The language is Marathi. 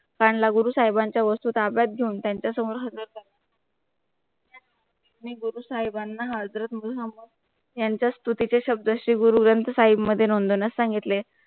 हाणला गुरु साहिबांच्या वस्तू ताब्यात घेऊन त्यांच्या समोर हजर झाला गुरु साहिबांना हजरत मोहम्मद यांचा स्तुतीचे शब्देशी गुरु ग्रंथ साहिब मध्ये नोंदवण्यास सांगितले